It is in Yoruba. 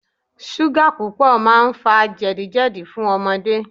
Súgà púpọ̀ máa ń fa jẹ̀dí jẹ̀dí fún ọmọdé.